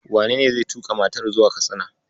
Wenene zai tuƙa matar zuwa Katsina?